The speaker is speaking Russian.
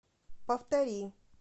повтори